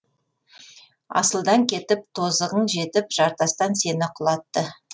асылдан кетіп тозығың жетіп жартастан сені құлатты